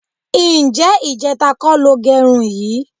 Ǹjé̩ ìje̩ta kó̩ lo ge̩run yìí?